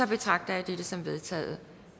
betragter jeg dette som vedtaget